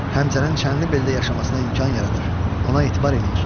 Həmzənin Çənlibeldə yaşamasına imkan yaradır, ona etibar eləyir.